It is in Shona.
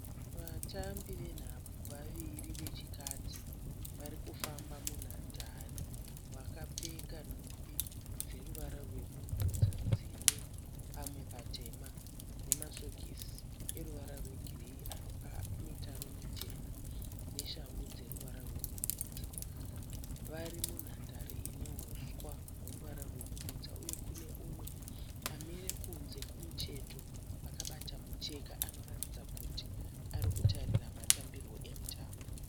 Vatambi venhabvu vaviri vechikadzi , varikufamba munhandare vakapfeka nhumbi dzeruwara rwebumhudza dzine pamwe patema nemasokisi eruvara rwe gireyi ane mitaro michena. Neshangu dzeruvara rwebumhudza. Varimunhandare inehuswa weruvara rwebumhudza. Uye kune mumwe amire kunze kumucheto akabata mucheka anoratidza kuti arikutarira matambirwo emutambo.